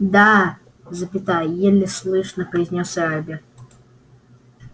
да запятая еле слышно произнёс эрби